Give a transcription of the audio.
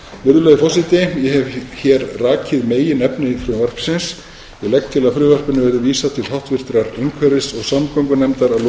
virðulegur forseti ég hef rakið meginefni frumvarpsins og legg til að því verði vísað til háttvirtrar umhverfis og samgöngunefndar að lokinni